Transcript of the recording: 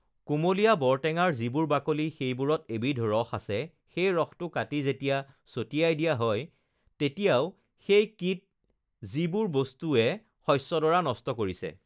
কোমলীয়া বৰটেঙাৰ যিবোৰ বাকলি, সেইবোৰত এবিধ ৰস আছে, সেই ৰসটো কাটি যেতিয়া চটিয়াই দিয়া হয় তেতিয়াও সেই কিট যিবোৰ বস্তুৱে শষ্যডৰা নষ্ট কৰিছে